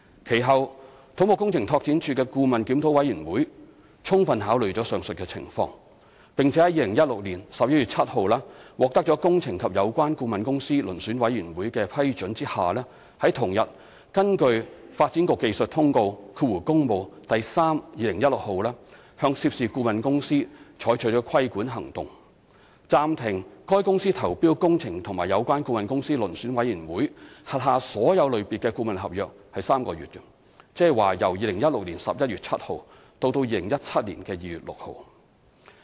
其後，土木工程拓展署的顧問檢討委員會充分考慮上述情況，並在2016年11月7日獲得"工程及有關顧問公司遴選委員會"的批准下，於同日根據《發展局技術通告第 3/2016 號》向涉事顧問公司採取規管行動，暫停該公司投標"工程及有關顧問公司遴選委員會"轄下所有類別的顧問合約3個月，即由2016年11月7日至2017年2月6日。